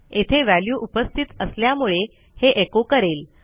येथे व्हॅल्यू उपस्थित असल्यामुळे हे एको करेल